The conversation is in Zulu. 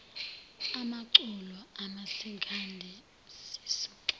amaculo omasikandi sisuka